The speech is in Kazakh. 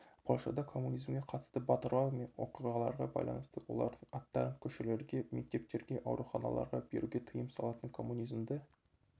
польшада коммунизмге қатысты батырлар мен оқиғаларға байланысты олардың аттарын көшелерге мектептерге ауруханаларға беруге тыйым салатын коммунизмді